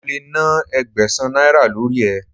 Mo lè nán Ẹgbẹ̀sán náírà lórí ẹ.